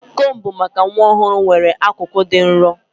Combu maka nwa ọhụrụ nwere akụkụ dị nro.